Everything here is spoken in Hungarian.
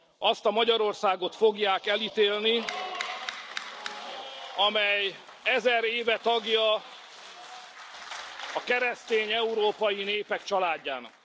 Azt a Magyarországot fogják elítélni, amely ezer éve tagja a keresztény európai népek családjának.